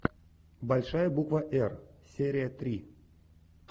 большая буква р серия три